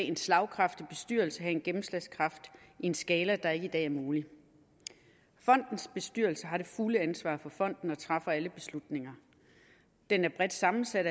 en slagkraftig bestyrelse have en gennemslagskraft i en skala der ikke i dag er mulig fondens bestyrelse har det fulde ansvar for fonden og træffer alle beslutninger den er bredt sammensat